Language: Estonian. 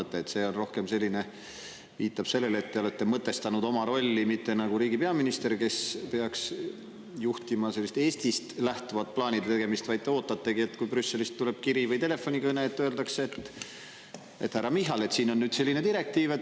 See viitab rohkem sellele, et te olete mõtestanud oma rolli mitte nagu riigi peaminister, kes peaks juhtima Eestist lähtuvat plaanide tegemist, vaid te ootategi, kui Brüsselist tuleb kiri või telefonikõne ja öeldakse: "Härra Michal, siin on nüüd selline direktiiv.